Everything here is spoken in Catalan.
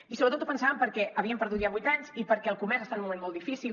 i sobretot ho pensàvem perquè havíem perdut ja vuit anys i perquè el comerç està en un moment molt difícil